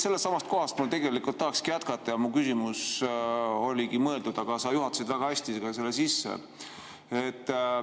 Sellestsamast kohast ma tegelikult tahaksingi jätkata ja mu küsimus oligi selleks mõeldud, aga sa juhatasid selle väga hästi sisse.